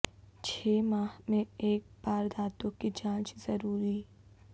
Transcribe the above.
چھ ماہ میں ایک بار دانتوں کی جانچ ضروری